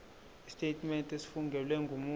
isitetimente esifungelwe ngumuntu